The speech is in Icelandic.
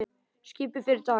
Skipið fer í dag.